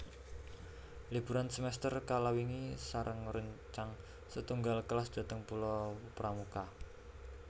Liburan semester kalawingi sareng rencang setunggal kelas dhateng Pulau Pramuka